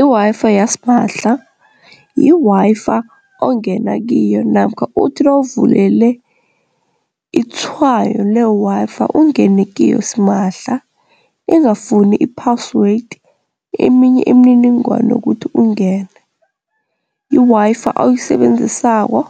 I-Wi-Fi yasimahla, yi-Wi-Fi ongena kiyo namkha uthi nawuvulele itshwayo le-Wi-Fi ungene kiyo simahla ingafuni i-password eminye imininingwana yokuthi ungene. I-Wi-Fi oyisebenzisako